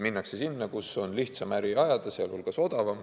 Minnakse sinna, kus on lihtsam äri ajada, sh odavam.